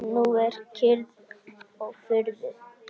Nú er kyrrð og friður.